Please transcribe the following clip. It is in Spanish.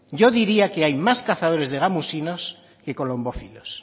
yo diría que hay más cazadores de gamusinos que colombófilos